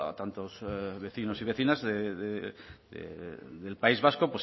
tantos vecinos y vecinas del país vasco